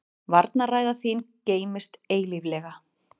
Varnarræða þín geymist eilíflega.